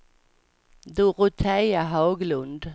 Dorotea Haglund